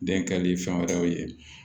Den kɛli fɛn wɛrɛw ye